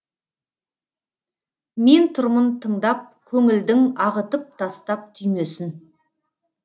мен тұрмын тыңдап көңілдің ағытып тастап түймесін